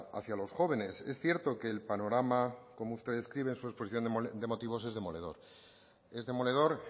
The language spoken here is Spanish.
hacia los jóvenes es cierto que el panorama como usted describe en su exposición de motivos es demoledor es demoledor